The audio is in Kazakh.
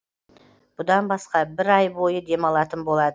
бұдан басқа бір ай бойы демалатын болады